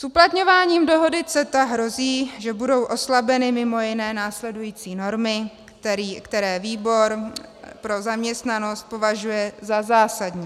S uplatňováním dohody CETA hrozí, že budou oslabeny mimo jiné následující normy, které výbor pro zaměstnanost považuje za zásadní.